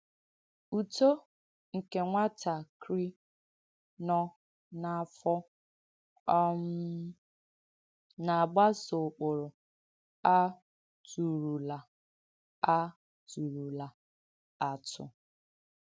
Ùtọ̀ nke nwàtàkrì nọ̀ n’āfọ̀ um na-àgbàso ụ̀kpụrụ à tùrùlà à tùrùlà àtụ̀.